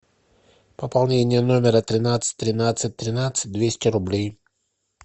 пополнение номера тринадцать тринадцать тринадцать двести рублей